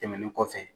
Tɛmɛnen kɔfɛ